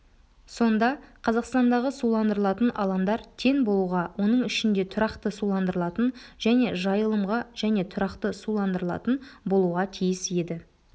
сонда қазақстандағы суландырылатын алаңдар тең болуға оның ішінде тұрақты суландырылатын және жайылымға және тұрақты суландырылатын болуға тиіс еді